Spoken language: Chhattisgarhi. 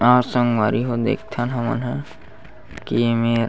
आज संगवारी हो देखथन हमन हा की--